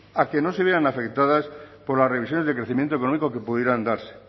a que no se vean afectadas por las revisiones de crecimiento económico que pudieran darse